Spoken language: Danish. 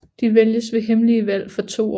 De vælges ved hemmelige valg for to år